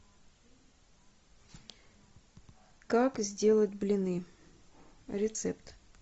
как сделать блины рецепт